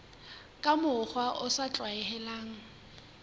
ka mokgwa o sa tlwaelehang